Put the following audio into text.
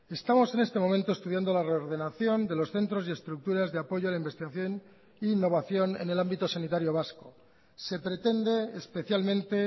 estamos en este momento estudiando la reordenación de los centros y estructuras de apoyo a la investigación e innovación en el ámbito sanitario vasco se pretende especialmente